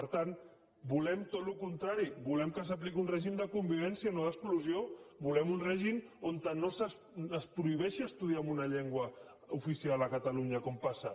per tant volem tot el contrari volem que s’apliqui un règim de convivència no d’exclusió volem un règim on no es prohibeixi estudiar en una llengua oficial a catalunya com passa